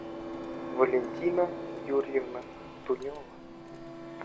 валентина юрьевна тунева